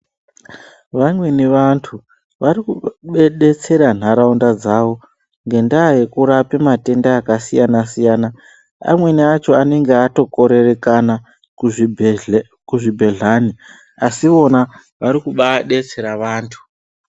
Vamweni vantu vari kubedetsera ntaraunda dzawo ngendaa yekurapa matenda akasiyana siyana amweni acho anenge atokorerekana kuzvibhedhlani kuzvibhedhlani asi ivona vari kubaadetsera vantu.